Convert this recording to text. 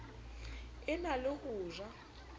e na le ho ja